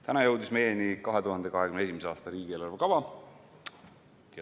Täna jõudis meieni 2021. aasta riigieelarve kava.